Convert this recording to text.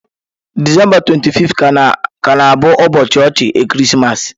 Disemba 25 ga na-abụ ụbọọchi ọchị ekeresimesi.